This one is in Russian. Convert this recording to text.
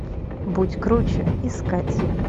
будь круче искать